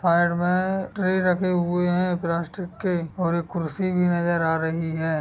Side में tray रखे हुए हैं प्लास्टिक के और एक कुर्सी भी नजर आ रही है।